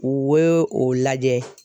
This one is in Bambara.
U we o lajɛ.